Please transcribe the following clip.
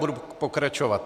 Budu pokračovat.